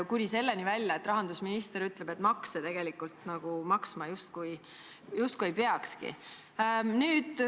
Kuni selleni välja, et rahandusminister ütleb, et makse maksma nagu justkui ei peakski.